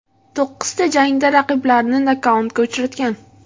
To‘qqizta jangda raqiblarini nokautga uchratgan.